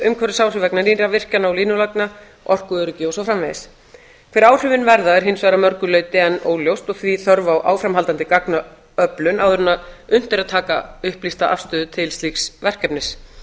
umhverfisáhrif vegna nýrra virkjana og línulagna orkuöryggi og svo framvegis hver áhrifin verða er hins vegar að mörgu leyti enn óljóst og því þörf á áframhaldandi gagnaöflun áður en unnt er að taka upplýsta afstöðu til slíks verkefnis